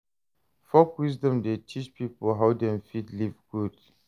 Folk wisdom dey teach pipo how dem fit live good.